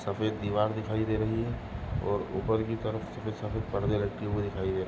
सफेद रंग की दीवार दिखाई दे रही है और ऊपर की तरफ परदे लटके हुए दिखाई दे रहे --